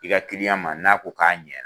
I ka kiliyan ma n'a ko k'a ɲɛ